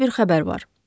Məndə bir xəbər var.